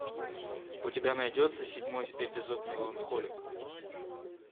у тебя найдется седьмой эпизод меланхолик